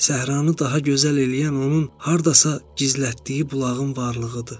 Səhranı daha gözəl eləyən onun hardasa gizlətdiyi bulağın varlığıdır.